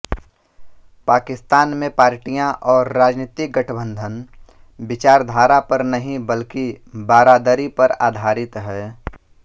पाकिस्तान में पार्टियां और राजनीतिक गठबंधन विचारधारा पर नहीं बल्कि बारादरी पर आधारित हैं